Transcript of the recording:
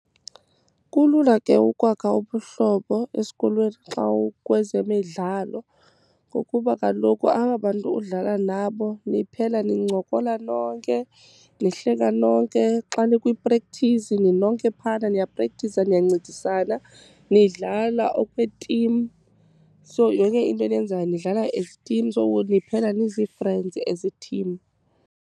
Kulula ke ukwakha ubuhlobo esikolweni xa ukwezemidlalo, ngokuba kaloku aba bantu udlala nabo niphela nincokola nonke, nihleka nonke. Xa nikwi-practise ninonke phayana, niyaprektiza niyancedisana, nidlala okwetim. So yonke into eniyenzayo nidlala as itim, so ke ngoku niphela nizi friends as itim.